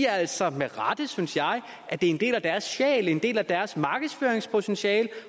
altså med rette synes jeg at det er en del af deres sjæl en del af deres markedsføringspotentiale